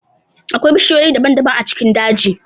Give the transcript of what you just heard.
Akwai bishiyoyi daban-daban a cikin dajin.